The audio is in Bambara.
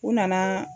U nana